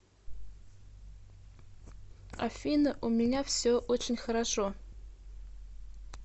афина у меня все очень хорошо